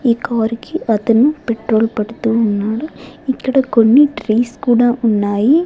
ఈ కారుకి ఒకతను పెట్రోల్ పడుతూ ఉన్నాడు ఇక్కడ కొన్ని ట్రీస్ కూడా ఉన్నాయి.